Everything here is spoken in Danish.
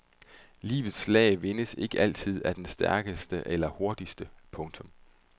Livets slag vindes ikke altid af den stærkeste eller hurtigste. punktum